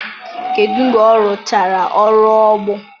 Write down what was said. kedụ mgbe ọ rụchara ọrụ ugbo?